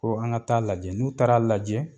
Ko an ka t'a lajɛ , n'u taara lajɛ